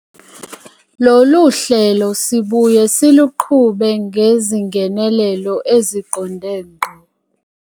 Lolu hlelo sibuye siluqhube ngezingenelelo eziqonde ngqo.